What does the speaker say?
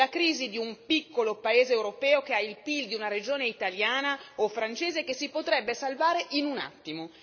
È la crisi di un piccolo paese europeo che ha il PIL di una regione italiana o francese che si potrebbe salvare in un attimo.